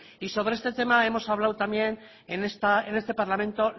y sobre este tema hemos hablado también en este parlamento